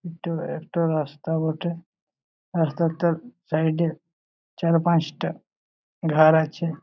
ইটা একটা রাস্তা বটে রাস্তাটার সাইড এ চার পাঁচটা ঘর আছে।